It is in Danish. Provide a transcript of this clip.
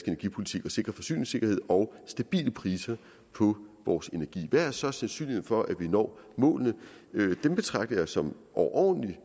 energipolitik at sikre forsyningssikkerhed og stabile priser på vores energi hvad er så sandsynligheden for at vi når målene den betragter jeg som overordentlig